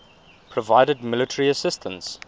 provided military assistance